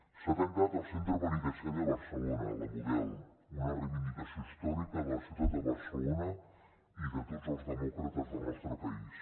s’ha tancat el centre penitenciari de barcelona la model una reivindicació històrica de la ciutat de barcelona i de tots els demòcrates del nostre país